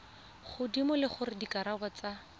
godimo le gore dikarabo tsa